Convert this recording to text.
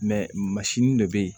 masini de be yen